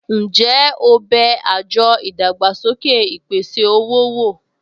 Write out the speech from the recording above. Ǹjẹ́ o bẹ àjọ ìdàgbàsókè ìpèsè-owó wò?